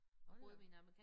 Hold da op